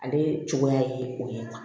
Ale cogoya ye o ye tan